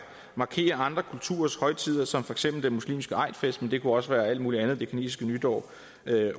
markerer andre kulturers højtider som for eksempel den muslimske eidfest men det kunne også være alt mulig andet det kinesiske nytår